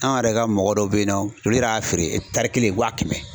An yɛrɛ ka mɔgɔ dɔ be yen nɔ, olu yɛrɛ y'a feere kelen wa kɛmɛ.